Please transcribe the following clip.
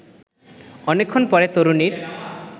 অনেক্ষণ পরে তরুণীর